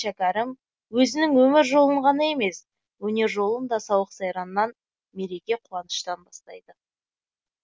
шәкәрім өзінің өмір жолын ғана емес өнер жолын да сауық сайраннан мереке қуаныштан бастайды